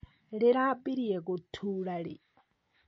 Rĩrambirie gũtura rĩ?